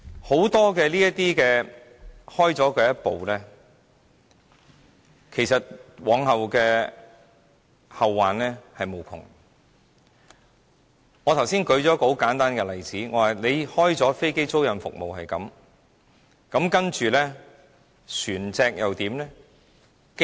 很多時踏出第一步，往後會後患無窮，我剛才列舉一個很簡單的例子，開了飛機租賃這個先例，接着船隻又怎樣呢？